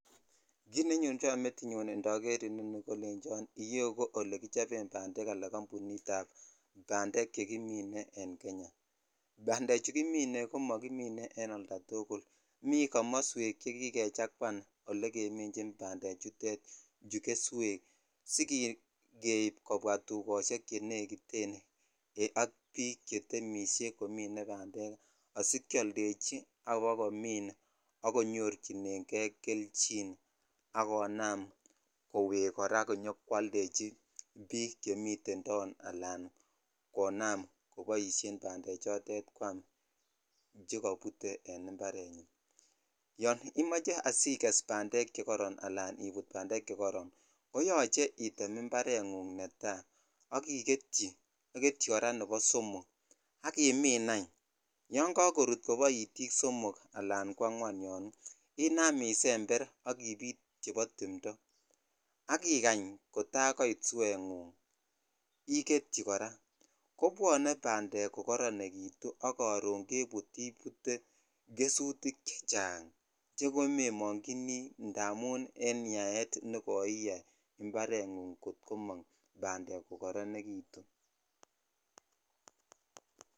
Kit nenyonjon metinyun indoger inoni kolecho iyeu ko olekichoben bandek kambunik ab bandek chekimin en Kenya bandechu kimine komokimine en oltatuguk miten komoswek chekikechakwan chekemichin bandechu keswek asikeib kobwa tukoshek che nekit ak bik chetemishe komine bandek asikeoldechi ak kobakomi ak konyochinen kei kelyin ak konam kora kwoldechi bik chemiten taon ala konam koboishen bandechutet kwam chekobutee en imparenyin yon imoche igest bandek chekoron ala ibut bandek chekoron koyoche item imparengug netai ak iketyi aketyi kora nebo somok ak imin any yon kakorut kobo itik simok Al kwangweman yon inam isember ak ibit chebo timto ak ikany kota koit sue ngung iketyichi kora kobwone bandek ko kotonekitu ak koro ibut gesutik chechang chekoemonyinikei indamun en yaet nekoiyai itemm itemm bandek kokoronekitun.